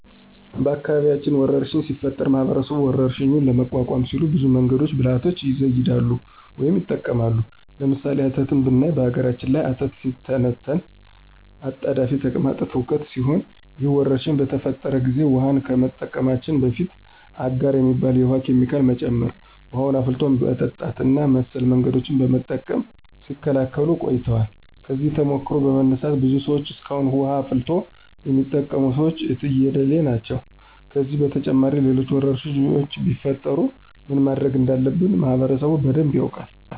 በአካባቢያችን ወረርሽኝ ሲፈጠር ማህበረሰቡ ወረርሽኙን ለመቋቋም ሲሉ ብዙ መንገዶችንና ብልሀቶችን ይዘይዳሉ ወይም ይጠቀማሉ። ለምሳሌ፦ አተት ብናይ በነገራችን ላይ አተት ሲተነተን አጣዳፊ ተቅማጥ ትውከት ሲሆን ይህ ወረርሽኝ በተፈጠረ ጊዜ ውሀን ከመጠቀማችን በፊት አጋር የሚባል የውሀ ኬሚካል መጨመር፣ ውሀን አፍልቶ በመጠጣት እና መሰል መንገዶችን በመጠቀም ሲከላከሉት ቆይተዋል። ከዚህ ተሞክሮ በመነሳት ብዙ ሰዎች እስካሁን ውሀን አፍልቶ የሚጠቀሙት ሰዎች የትየለሌ ናቸው። ከዚህም በተጨማሪ ሌሎች ወረርሽኞች ቢፈጠሩ ምን ማድረግ እንዳለበት ማህበረሰቡ በደንብ ያውቃል።